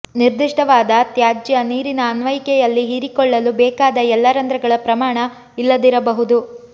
ನಿರ್ದಿಷ್ಟವಾದ ತ್ಯಾಜ್ಯ ನೀರಿನ ಅನ್ವಯಿಕೆಯಲ್ಲಿ ಹೀರಿಕೊಳ್ಳಲು ಬೇಕಾದ ಎಲ್ಲಾ ರಂಧ್ರಗಳ ಪ್ರಮಾಣ ಇಲ್ಲದಿರಬಹುದು